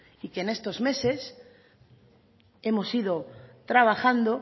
y que en estos meses hemos ido trabajando